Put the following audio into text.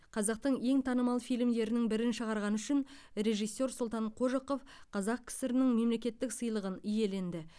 қазақтың ең танымал фильмдерінің бірін шығарғаны үшін режиссер сұлтан қожықов қазақ кср нің мемлекеттік сыйлығын иеленді